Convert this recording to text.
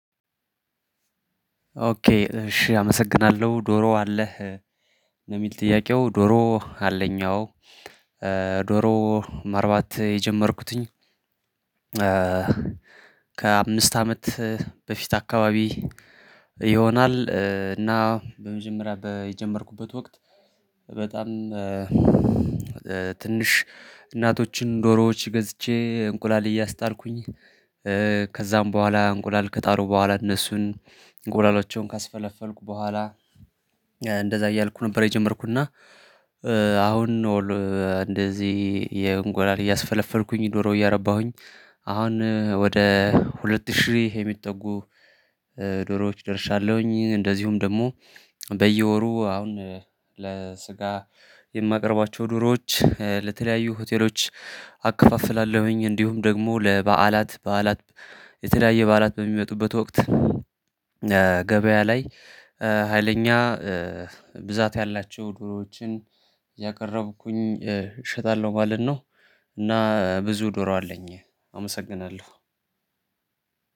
ኦኬ እሺ አመሰግናለሁ። ዶሮ አለህ የሚል ጥያቄው ዶሮ አለኝ አዎ። ዶሮ ማርባት የጀመርኩትኝ ከአምስት አመት በፊት አካባቢ ይሆናል። እና በመጀመሪያ በጀመርኩበት ወቅት በጣም ትንሽ እናቶችን ዶሮዎች ገዝቼ እንቁላል እያስጣልኩኝ ከዛም በኋላ እንቁላል ከጣሉ በኋላ እነሱን እንቁላሎቹን ካስፈለፈልኩ በኋላ እንደዛ እያልኩ ነበር የጀመርኩና። አሁን ነው እንደዚህ የእንቁላል እያስፈለፈልኩኝ ዶሮ እያረባሁኝ አሁን ወደ ሁለት ሺህ የሚጠጉ ዶሮዎች ደርሻለሁኝ። እንደዚሁም ደግሞ በየወሩ አሁን ለስጋ የማቀርባቸው ዶሮዎች ለተለያዩ ሆቴሎች አከፋፍላለሁኝ። እንዲሁም ደግሞ ለበዓላት በዓላት የተለያየ በዓላት በሚመጡበት ወቅት ገበያ ላይ ሀይለኛ ብዛት ያላቸው ዶሮዎችን እያቀረብኩኝ እሸጣለሁ ማለት ነው። እና ብዙ ዶሮ አለኝ አመሰግናለሁ።